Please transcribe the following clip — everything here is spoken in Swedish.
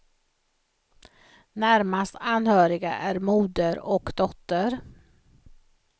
Närmast anhöriga är moder och dotter.